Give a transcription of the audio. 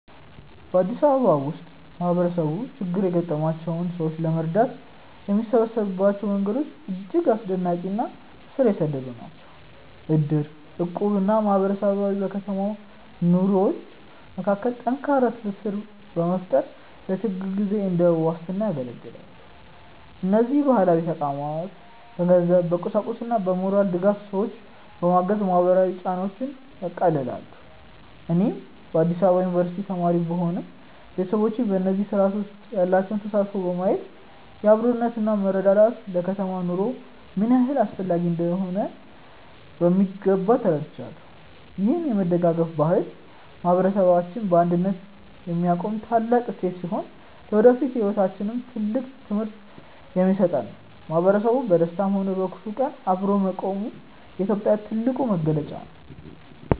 በአዲስ አበባ ውስጥ ማህበረሰቡ ችግር ያጋጠማቸውን ሰዎች ለመርዳት የሚሰበሰብባቸው መንገዶች እጅግ አስደናቂ እና ስር የሰደዱ ናቸው። እድር፣ እቁብ እና ማህበር በከተማው ነዋሪዎች መካከል ጠንካራ ትስስር በመፍጠር ለችግር ጊዜ እንደ ዋስትና ያገለግላሉ። እነዚህ ባህላዊ ተቋማት በገንዘብ፣ በቁሳቁስና በሞራል ድጋፍ ሰዎችን በማገዝ ማህበራዊ ጫናዎችን ያቃልላሉ። እኔም በአዲስ አበባ ዩኒቨርሲቲ ተማሪ ብሆንም፣ ቤተሰቦቼ በእነዚህ ስርአቶች ውስጥ ያላቸውን ተሳትፎ በማየት አብሮነትና መረዳዳት ለከተማ ኑሮ ምን ያህል አስፈላጊ እንደሆኑ በሚገባ ተረድቻለሁ። ይህ የመደጋገፍ ባህል ማህበረሰባችንን በአንድነት የሚያቆም ታላቅ እሴታችን ሲሆን፣ ለወደፊት ህይወታችንም ትልቅ ትምህርት የሚሰጥ ነው። ማህበረሰቡ በደስታም ሆነ በክፉ ቀን አብሮ መቆሙ የኢትዮጵያዊነት ትልቁ መገለጫ ነው።